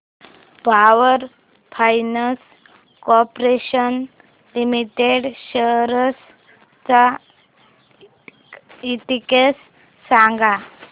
power finance corporation limited shares चा index सांगा